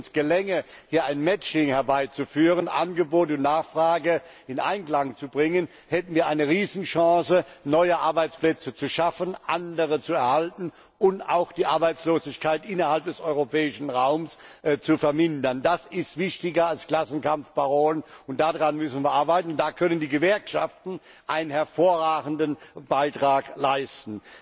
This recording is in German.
Wenn es uns gelänge, hier ein Matching herbeizuführen, Angebot und Nachfrage in Einklang zu bringen, hätten wir eine Riesenchance, neue Arbeitsplätze zu schaffen, andere zu erhalten und auch die Arbeitslosigkeit innerhalb des europäischen Raums zu vermindern. Das ist wichtiger als Klassenkampfparolen, daran müssen wir arbeiten und da können die Gewerkschaften einen hervorragenden Beitrag leisten!